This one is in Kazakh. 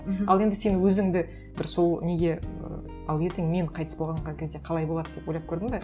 мхм ал енді сен өзіңді бір сол неге і ал ертең мен қайтыс болған кезде қалай болады деп ойлап көрдің бе